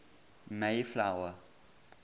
mayflower